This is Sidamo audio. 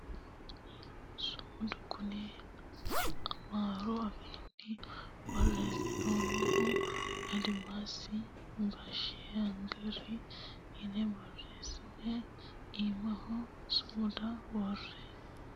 sumudu kuni amaaru afiinni borreessinoonnihu adimaasi baashshaaggeri yine boreessine iimaho sumuda worre baqqala kuula buurre loonsoonniwa ikkasi xawissannote yaate .